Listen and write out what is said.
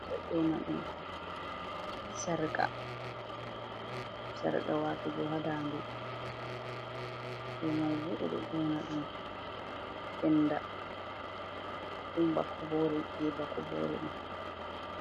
Ɓeɗo nyona ɗum sarqa watugo ha dande do mai bo ɓeɗo nyona ɗum penda ɗon ba kobore je ba kobore ɗo.